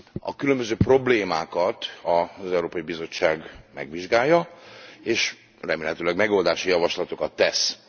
A különböző problémákat az Európai Bizottság megvizsgálja, és remélhetőleg megoldási javaslatokat tesz.